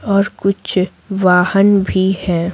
और कुछ वाहन भी हैं।